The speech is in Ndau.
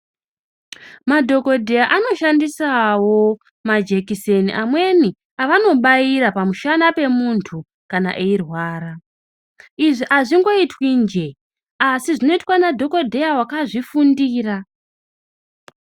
Madhokodheya anoshandiswo majekiseni amweni avanobaira pamushana pemuntu kana eirwara. Izvi hazvingoitwi njee asi zvinoitwa nadhogodheya wakazvifundira.